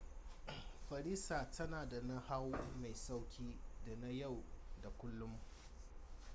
farisa tana da nahawu mai sauki da na yau da kullum